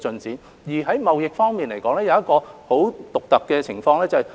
至於貿易方面，出現了很獨特的情況。